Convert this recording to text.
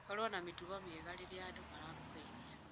Korũo na mĩtugo mĩega rĩrĩa andũ marakũgeithia.